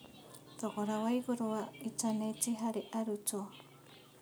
Thogora waigũrũ wa itaneti harĩ arutwo.